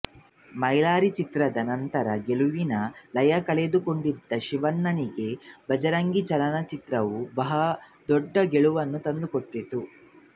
ಮೈಲಾರಿ ಚಿತ್ರದ ನಂತರದ ಗೆಲುವಿನ ಲಯ ಕಳೆದುಕೊಂಡಿದ್ದ ಶಿವಣ್ಣನಿಗೆ ಭಜರಂಗಿ ಚಲನಚಿತ್ರವು ಬಹುದೊಡ್ಡ ಗೆಲುವು ತಂದುಕೊಟ್ಟಿತು